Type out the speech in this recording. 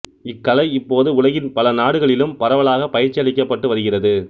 இக்கலை இப்போது உலகின் பல நாடுகளிலும் பரவலாகப் பயிற்சி அளிக்கப்பட்டு வருகிறது